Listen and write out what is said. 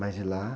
Mas de lá?